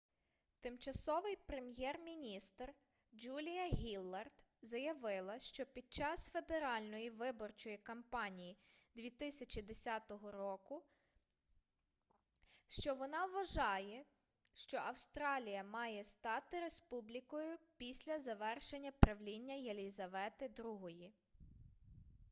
тимчасовий прем'єр-міністр джулія гіллард заявила під час федеральної виборчої кампанії 2010 року що вона вважає що австралія має стати республікою після завершення правління єлізавети іі